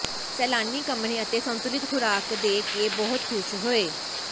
ਸੈਲਾਨੀ ਕਮਰੇ ਅਤੇ ਸੰਤੁਲਿਤ ਖੁਰਾਕ ਦੇ ਕੇ ਬਹੁਤ ਖ਼ੁਸ਼ ਹੋਏ